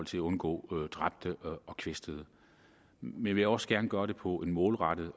til at undgå dræbte og kvæstede men jeg vil også gerne gøre det på en målrettet